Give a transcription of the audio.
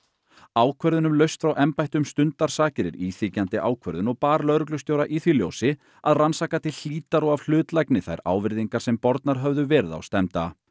ákvörðun um lausn frá embætti um stundarsakir er íþyngjandi ákvörðun og bar lögreglustjóra í því ljósi að rannsaka til hlítar og af hlutlægni þær ávirðingar sem bornar höfðu verið á stefnda